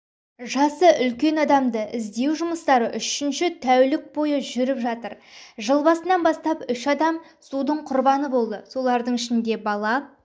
жасы үлкен адамды іздеу жұмыстары үшінші тәулік бойы жүріп жатыр жыл басынан бастап үш адам судың құрбаны болды солардың ішінде бала